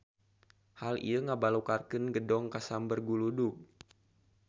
Hal ieu ngabalukarkeun gedong kasamber guludug.